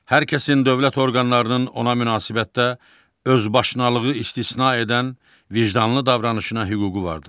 Hər kəsin dövlət orqanlarının ona münasibətdə özbaşınalığı istisna edən vicdanlı davranışına hüququ vardır.